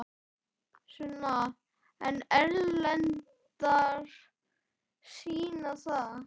Sunna: En erlendar sýna það?